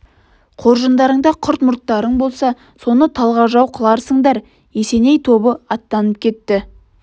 қоржындарыңда құрт-мұрттарың болса соны талғажау қыларсыңдар есеней тобы аттанып кетті